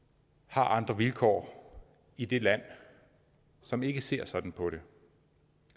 har andre vilkår i de lande som ikke ser sådan på det